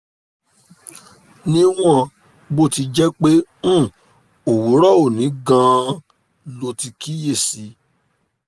níwọ̀n bó ti jẹ́ pé um òwúrọ̀ òní gan-an lo ti kíyè sí i